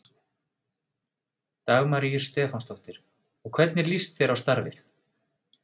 Dagmar Ýr Stefánsdóttir: Og hvernig líst þér á starfið?